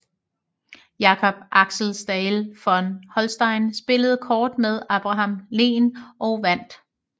Jacob Axel Staël von Holstein spillede kort med Abraham Lehn og vandt